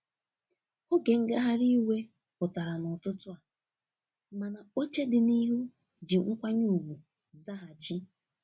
Otu ngagharị iwe pụtara n'ụtụtụ a, mana oche dị n'ihu ji nkwanye ugwu zaghachi.